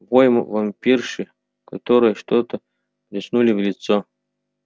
вой вампирши которой что-то плеснули в лицо